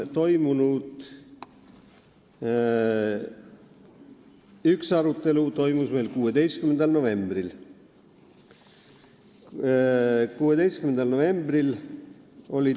Üks arutelu oli meil 16. novembril.